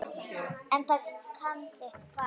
En það kann sitt fag.